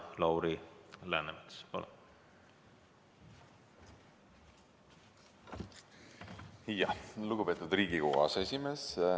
Lugupeetud Riigikogu aseesimees!